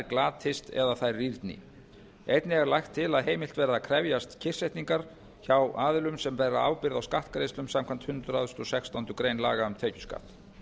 glatist eða þær rýrni einnig er lagt til að heimilt verði að krefjast kyrrsetningar hjá aðilum sem bera ábyrgð á skattgreiðslum samkvæmt hundrað og sextándu grein laga um tekjuskatt